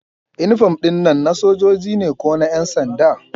Inifom ɗin nan na sojoji ne ko na ƴansanda?